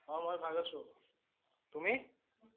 অ মই ভাল আছোঁ। তুমি?